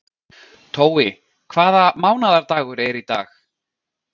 Tói, hvaða mánaðardagur er í dag?